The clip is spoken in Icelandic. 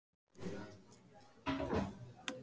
Júlía hváir, nær ekki þessari kúvendingu.